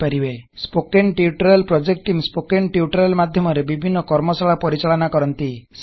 spoken tutorial project team spoken tutorial ମାଧ୍ୟମରେ ବିଭିନ୍ନ କର୍ମଶାଳା ପରିଚାଳନ କରନ୍ତି